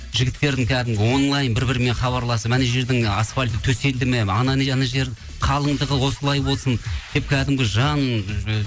жігіттердің кәдімгі онлайн бір бірімен хабарласып анау жердің асфальты төселді ме анау жер қалыңдығы осылай болсын деп кәдімгі жан